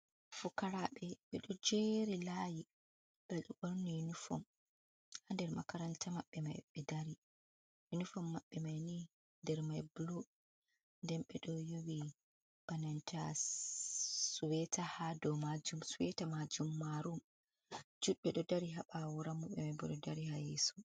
Fukaraɓe ɓe do jeri layi ɓeɗo ɓorni yunifom ha nder makaranta, unifon maɓɓe mani der mai blo den ɓeɗo yimi bananta suweta ha dou majum suweta majum marum juɓɓe ɗo dari haɓawo ramuɓe man ɓo ɗo dari ha yesso.